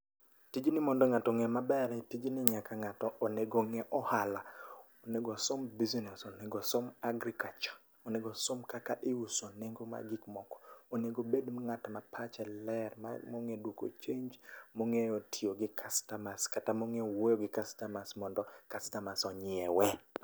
Tijni mondo ngato onge maber, tijni onyaka ngato onego onge ohala. Onego osom business, onego osom agriculture ,onego osom kaka iuso nengo mag gik moko, onego obed ngatma pache ler mongeyo duoko change mongeyo tiyo gi customers, kata mongeyo wuoyo gi customers mondo customers onyiewe